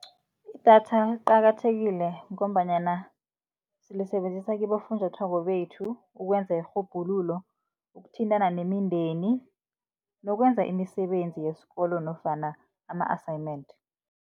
Idatha liqakathekile ngombanyana silisebenzisa kibofunjathwako bethu ukwenza irhubhululo, ukuthintana nemindeni nokwenza imisebenzi yesikolo nofana ama-assignment.